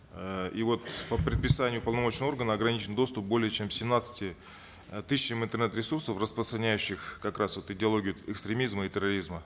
э и вот по предписанию уполномоченного органа ограничен доступ более чем семнадцати э тысячам интернет ресурсов распространяющих как раз вот идеологию экстремизма и терроризма